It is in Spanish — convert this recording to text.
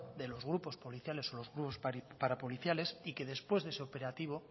de los grupos policiales o los grupos parapoliciales y que después de ese operativo